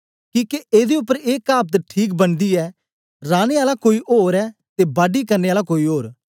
किके एदे उपर ए कावत ठीक बनदी ऐ राने आला कोई ओर ऐ ते बाडी करने आला कोई ओर